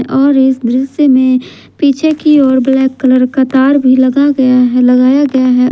और इस दृश्य में पीछे की ओर ब्लैक कलर का तार भी लग गया है लगाया गया है।